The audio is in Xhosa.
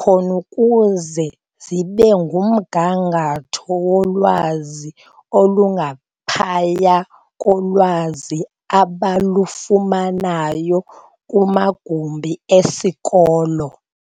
khon'ukuze zibekumgangatho wolwazi olungaphaya kolwazi abalufumana kumagumbi esikolo.